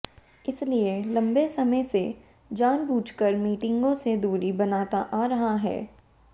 इसलिए लंबे समय से जानबूझकर मीटिंगों से दूरी बनाता आ रहा है